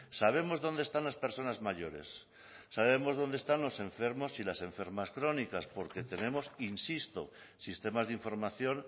sabemos dónde están las personas mayores sabemos dónde están los enfermos y las enfermas crónicas porque tenemos insisto sistemas de información